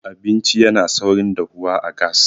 abinci yana saurin dahuwa a gas